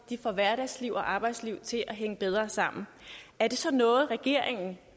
får hverdagsliv og arbejdsliv til at hænge bedre sammen er det så noget regeringen